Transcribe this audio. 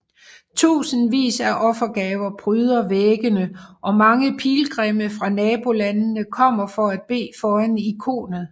Tusindvis af offergaver pryder væggene og mange pilgrimme fra nabolandene kommer for at bede foran ikonet